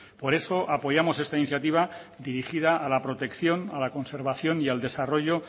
por eso apoyamos esta iniciativa dirigida a la protección a la conservación y al desarrollo